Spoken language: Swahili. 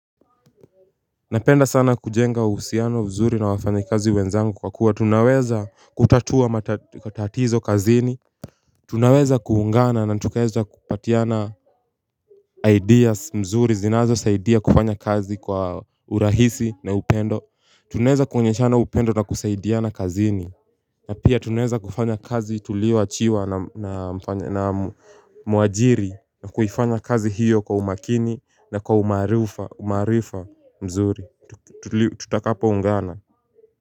Napenda sana kujenga uhusiano mzuri na wafanyakazi wenzangu kwa kuwa tunaweza kutatua matatizo kazini. Tunaweza kuungana na tukaweza kupatiana ideas nzuri zinazosaidia kufanya kazi kwa urahisi na upendo. Tunaweza kuoneshana upendo na kusaidiana kazini. Na pia tunaweza kufanya kazi tulioachiwa na mwajiri na kufanya kazi hiyo kwa umakini na kwa umaarifa mzuri tutakapoungana.